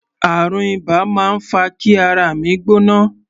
Àrùn iba máa ń fa kí ara mi gbóná.